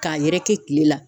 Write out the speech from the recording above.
K'a yɛrɛkɛ kile la.